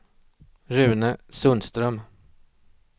Rune Sundström